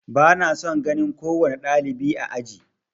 Ba na son ganin kowane ɗalibi a aji.